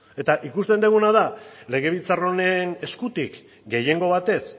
eta ikusten duguna da legebiltzar honen eskutik gehiengo batez